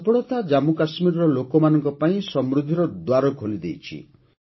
ଏହି ସଫଳତା ଜାମ୍ମୁ କାଶ୍ମୀରର ଲୋକମାନଙ୍କ ପାଇଁ ସମୃଦ୍ଧିର ଦ୍ୱାର ଖୋଲିଦେଇଛି